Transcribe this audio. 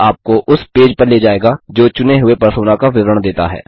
यह आपको उस पेज पर ले जायेगा जो चुने हुए परसोना का विवरण देता है